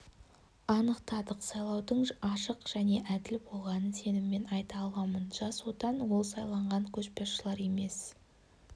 анықтадық сайлаудың ашық және әділ болғанын сеніммен айта аламын жас отан ол сайланған көшбасшылар емес